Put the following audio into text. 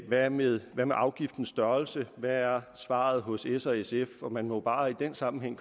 hvad med afgiftens størrelse hvad er svaret hos s og sf man må bare i den sammenhæng